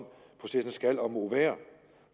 processen skal og må være